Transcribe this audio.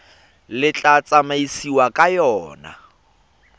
le tla tsamaisiwang ka yona